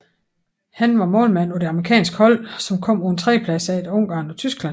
Han var målmand på det amerikanske hold som kom på en tredjeplads efter Ungarn og Tyskland